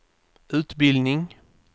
utbildning